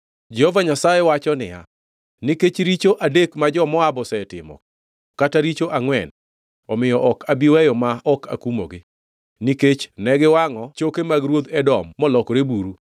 Jehova Nyasaye wacho niya, “Nikech richo adek ma jo-Moab osetimo, kata richo angʼwen, omiyo ok abi weyo ma ok akumogi. Nikech ne giwangʼo choke mag ruodh Edom molokore buru,